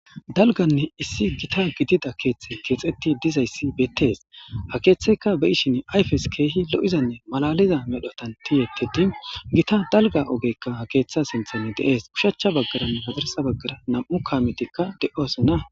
Dalganne issi gita gidida keeththe keexetti dizayssi bettes ha keeththeyka be ishin ayfes keehi lo7izanne malaliza medhotan tiyettedi gita dalga ogekka ha keeththa sinthan deees kushachcha baggaranne padarsa baggara nam7u kaametikka de7oosona.